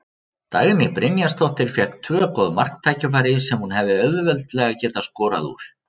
Dagný Brynjarsdóttir fékk tvö góð marktækifæri sem hún hefði auðveldlega getað skorað úr.